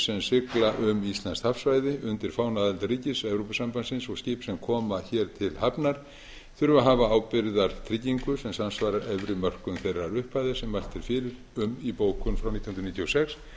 sem sigla um íslenskt hafsvæði undir fána aðildarríkis evrópusambandsins og skip sem koma hér til hafnar þurfi að hafa ábyrgðartryggingu sem samsvarar efri mörkum þeirrar upphæðar sem mælt er fyrir um í bókun frá nítján hundruð níutíu og sex